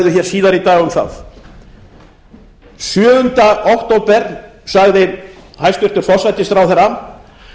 síðar í dag um það sjöunda október síðastliðinn sagði hæstvirtur forsætisráðherra